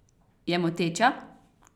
Je moteča?